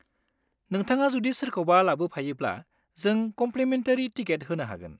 नोंथाङा जुदि सोरखौबा लाबोफायोब्ला जों कम्लिमेन्टारि टिकेट होनो हागोन।